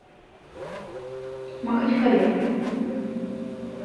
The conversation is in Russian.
махачкале